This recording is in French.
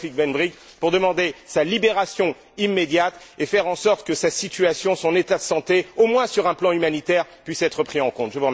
Taoufik Ben Brik, pour demander sa libération immédiate et faire en sorte que sa situation, son état de santé au moins sur un plan humanitaire puissent être pris en compte?